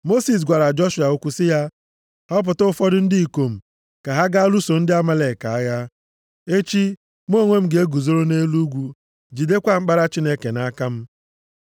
Mosis gwara Joshua okwu sị ya, “Họpụta ụfọdụ ndị ikom ka ha gaa lụso ndị Amalek agha. Echi, mụ onwe m ga-eguzoro nʼelu ugwu, jidekwa mkpara Chineke nʼaka m.”